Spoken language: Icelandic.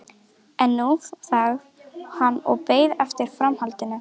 En nú þagði hann og beið eftir framhaldinu.